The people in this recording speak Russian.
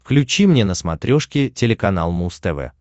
включи мне на смотрешке телеканал муз тв